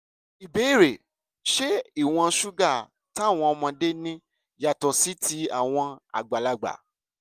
ìbéèrè: ṣé ìwọ̀n ṣúgà táwọn ọmọdé ní yàtọ̀ sí ti àwọn àgbàlagbà?